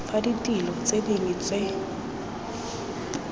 fa ditilo tse dingwe tse